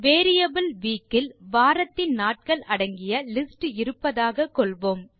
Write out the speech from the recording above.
variable week இல் வாரத்தின் நாட்கள் அடங்கிய லிஸ்ட் இருப்பதாக கொள்வோம்